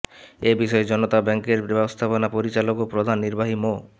এ বিষয়ে জনতা ব্যাংকের ব্যবস্থাপনা পরিচালক ও প্রধান নির্বাহী মো